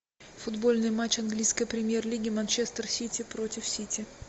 футбольный матч английской премьер лиги манчестер сити против сити